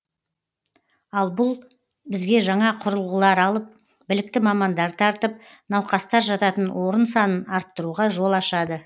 ал бұл бізге жаңа құрылғылар алып білікті мамандар тартып науқастар жататын орын санын арттыруға жол ашады